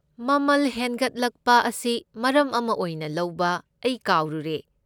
ꯃꯃꯜ ꯍꯦꯟꯒꯠꯂꯛꯄ ꯑꯁꯤ ꯃꯔꯝ ꯑꯃ ꯑꯣꯏꯅ ꯂꯧꯕ ꯑꯩ ꯀꯥꯎꯔꯨꯔꯦ꯫